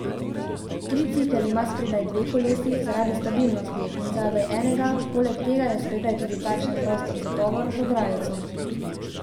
Tricikel ima spredaj dve kolesi, zaradi stabilnosti, in zadaj enega, poleg tega je spredaj tudi takšen prostor za tovor, z ograjico.